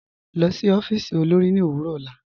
Lọ sí ọfiísì olórì ni owurọ ọlá.